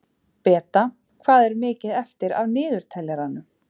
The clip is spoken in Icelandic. Beta, hvað er mikið eftir af niðurteljaranum?